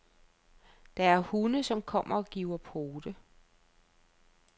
Der er hunde, som kommer og giver pote.